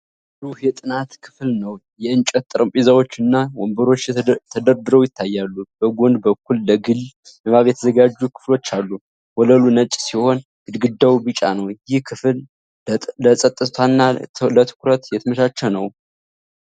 ብሩህ የጥናት ክፍል ነው። የእንጨት ጠረጴዛዎች እና ወንበሮች ተደርድረው ይታያሉ፤ በጎን በኩልም ለግል ንባብ የተዘጋጁ ክፍሎች አሉ። ወለሉ ነጭ ሲሆን ግድግዳው ቢጫ ነው። ይህ ክፍል ለጸጥታና ለትኩረት የተመቻቸ ነውን?